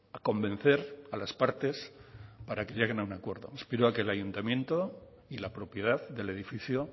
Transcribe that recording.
a convencer a las partes para que lleguen a un acuerdo aspiro a que el ayuntamiento y la propiedad del edificio